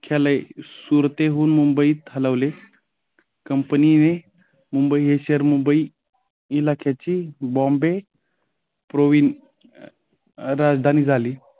मुख्यालय सुरतेहून मुंबईत हलवले. कंपनीने मुंबई हे शहर मुंबई इलाख्याची बॉम्बे प्रोविन्स राजधानी झाली.